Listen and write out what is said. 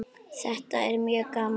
Þetta er mjög gaman.